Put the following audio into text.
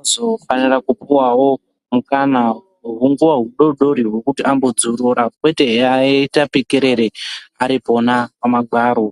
azofanira kupuvavo mukana mudodori vekuti ambodzorora kwete eiaita pikerere ari pona pamagwaro.